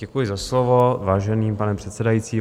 Děkuji za slovo, vážený pane předsedající.